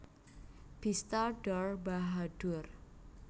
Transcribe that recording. Bista Dor Bahadur